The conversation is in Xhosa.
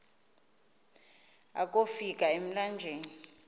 akofi ka emlanjeni